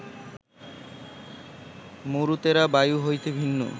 মরুতেরা বায়ু হইতে ভিন্ন